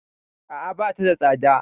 A'a, bata da tsada.